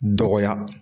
Dɔgɔya